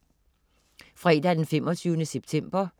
Fredag den 25. september